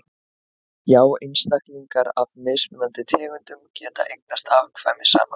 já einstaklingar af mismunandi tegundum geta eignast afkvæmi saman